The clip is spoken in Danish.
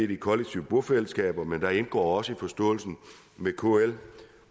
de kollektive bofællesskaber men der indgår også i forståelsen med kl